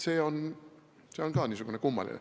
See on päris kummaline.